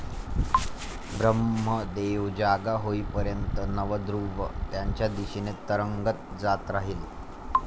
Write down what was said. ब्रम्हदेव जागा होईपर्यंत नव ध्रुव त्यांच्या दिशेने तरंगत जात राहील.